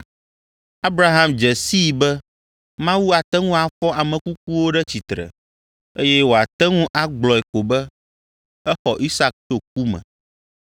Abraham dze sii be Mawu ate ŋu afɔ ame kukuwo ɖe tsitre, eye woate ŋu agblɔe ko be exɔ Isak tso ku me.